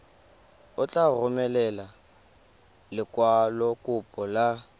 o tla romela lekwalokopo la